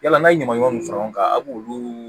Yala n'a ye ɲaman ɲamanw fara ɲɔgɔn kan a b'olu